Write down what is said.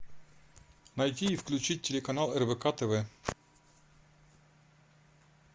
найти и включить телеканал рбк тв